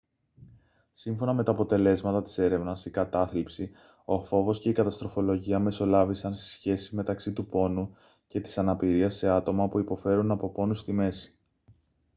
σύμφωνα με τα αποτελέσματα της έρευνας η κατάθλιψη ο φόβος και η καταστροφολογία μεσολάβησαν στη σχέση μεταξύ του πόνου και της αναπηρίας σε άτομα που υποφέρουν από πόνους στη μέση